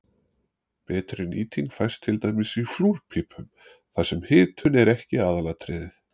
betri nýting fæst til dæmis í flúrpípum þar sem hitun er ekki aðalatriðið